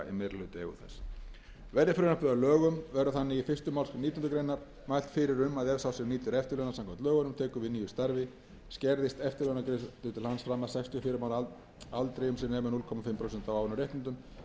í meirihlutaeigu þess verði frumvarpið að lögum verður þannig í fyrstu málsgrein nítjánda grein mælt fyrir um að ef sá sem nýtur eftirlauna samkvæmt lögunum tekur við nýju starfi skerðist eftirlaunagreiðslur til hans fram að sextíu og fimm ára aldri um sem nemur hálft prósent af áunnum rétti fyrir hvern